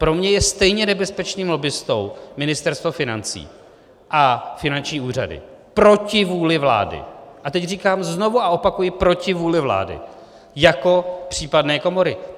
Pro mě je stejně nebezpečným lobbistou Ministerstvo financí a finanční úřady proti vůli vlády - a teď říkám znovu a opakuji proti vůli vlády - jako případné komory.